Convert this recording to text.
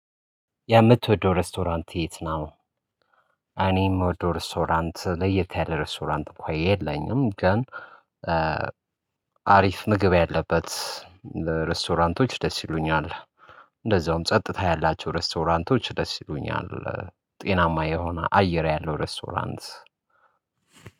ያምትወደው ሬስቶራንት የት ነው? እኔም ወደ ሬስቶራንት ለየት ያለ ሬስቶራንት እኮ የለኝም ግን አሪፍ ምግብ ያለበት ሬስቶራንቶች ደስ ይሉኛል። እንደዛውም ጸጥታ ያላቸው ሬስቶራንቶች ደስ ይሉኛል። ጤናማ የሆነ አየር ያለው ሬስቶራንት።